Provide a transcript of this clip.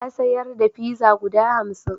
Ya sayar da pizza guda hamsin.